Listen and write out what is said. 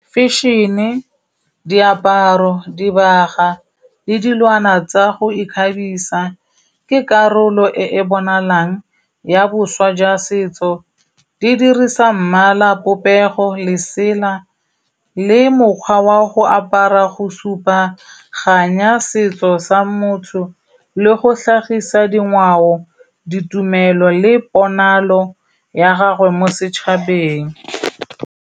Fashion-e, diaparo, dibaga le dilwana tsa go ikgabisa ke karolo e e bonalang ya boswa jwa setso. Di dirisa mmala, popego, lesela le mokgwa wa go apara go supa kganya, setso sa motho le go tlhagisa dingwao, ditumelo le ponalo ya gago mo setšhabeng.